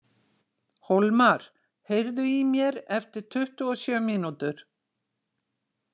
Hólmar, heyrðu í mér eftir tuttugu og sjö mínútur.